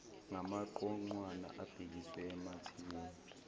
ngamaqoqwana abhekiswe emathimbeni